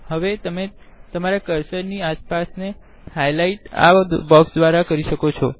હવે તમે તમારા કર્સર નિ આસપાસ નો હાઈલાઈટ આ બોક્ક્ષ દ્વારા કરી શકો છો